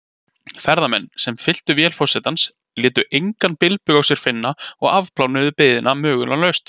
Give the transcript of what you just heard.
Ferðamenn, sem fylltu vél forsetans, létu engan bilbug á sér finna og afplánuðu biðina möglunarlaust.